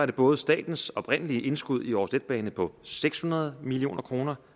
det både statens oprindelige indskud i aarhus letbane på seks hundrede million kroner